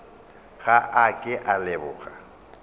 ga a ke a leboga